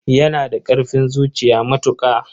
Yana da ƙarfin zuciya matuƙa.